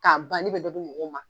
K'an ban ne bɛ dɔ di mɔgɔw ma